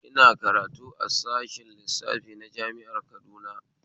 Ina karatu a sashen lissafi na jami'ar Kaduna